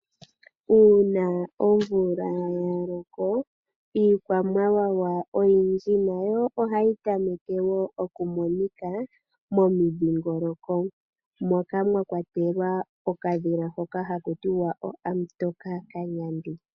Uuna omvula yaloko, iikwamawawa oyindji nayo ohayi tameke wo okumonika momundhingoloko, moka mwakwatelwa okadhila hoka haku tiwa Hamutokakanyandi .